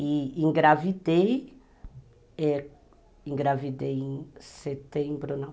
E engravidei... É, engravidei em setembro, não.